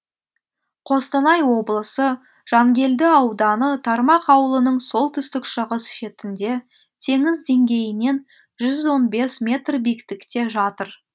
қостанай облысы жангелді ауданы тармақ ауылының солтүстік шығыс шетінде теңіз деңгейінен жүз он бес метр биіктікте жатыр